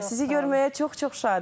Sizi görməyə çox-çox şadıq.